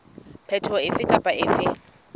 phetoho efe kapa efe e